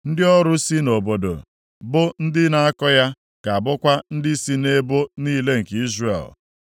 Ndị ọrụ si nʼobodo, bụ ndị na-akọ ya ga-abụkwa ndị sị nʼebo niile nke Izrel.